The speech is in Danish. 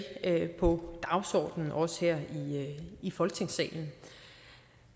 på dagsordenen også her i folketingssalen